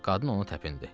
Qadın onu təpindi.